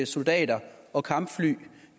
soldater og kampfly